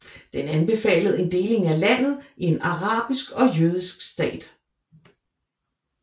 Den anbefalede en deling af landet i en arabisk og jødisk stat